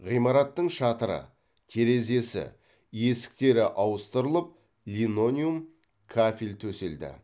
ғимараттың шатыры терезесі есіктері ауыстырылып линолеум кафель төселді